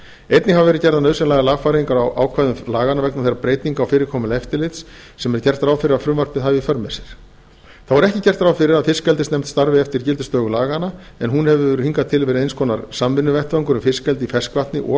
einnig hafa verið gerðar nauðsynlegar lagfæringar á ákvæðum laganna vegna þeirra breytinga á fyrirkomulagi eftirlits sem er gert ráð fyrir að frumvarpið hafi í för með sér þá er ekki gert ráð fyrir að fiskeldisnefnd starfi eftir gildistöku laganna en hún hefur hingað til verið eins konar samvinnuvettvangur um fiskeldi í ferskvatni og